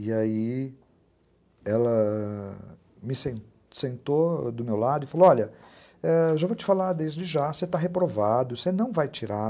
E aí, ela... me sensentou do meu lado e falou, olha, já vou te falar desde já, você está reprovado, você não vai tirar